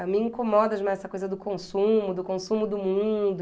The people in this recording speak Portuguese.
A mim incomoda demais essa coisa do consumo, do consumo do mundo.